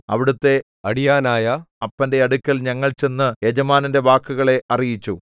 അവിടത്തെ അടിയാനായ അപ്പന്റെ അടുക്കൽ ഞങ്ങൾ ചെന്ന് യജമാനന്റെ വാക്കുകളെ അറിയിച്ചു